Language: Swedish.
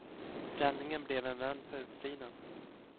Räddningen blev en vän på utsidan.